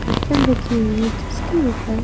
बर्तन रखी हुई हैं जिसके ऊपर--